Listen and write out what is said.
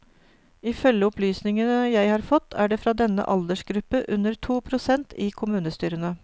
Ifølge opplysninger jeg har fått, er det fra denne aldersgruppe under to prosent i kommunestyrene.